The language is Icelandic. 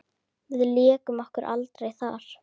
Við lékum okkur aldrei þar.